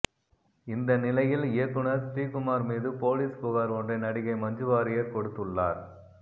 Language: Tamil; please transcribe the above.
இந்த நிலையில் இயக்குனர் ஸ்ரீகுமார் மீது போலீஸ் புகார் ஒன்றை நடிகை மஞ்சுவாரியர் கொடுத்துள்ளார்